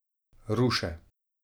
Ruše.